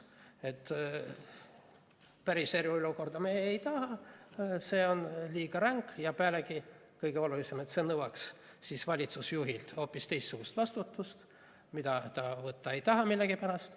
Et päris eriolukorda me ei taha, see on liiga ränk, ja pealegi, kõige olulisem, see nõuaks siis valitsusjuhilt hoopis teistsugust vastutust, mida ta võtta ei taha millegipärast.